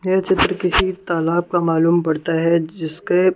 ये चित्र किसी तालाब का मालूम पड़ता है जिसके--